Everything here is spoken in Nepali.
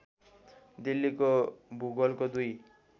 दिल्लीको भूगोलको दुई